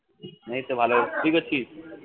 এইতো ভালো আছি, কি করছিস?